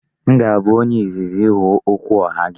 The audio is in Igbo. M ga-abụ onye izizi ịhụ okwuoha gị.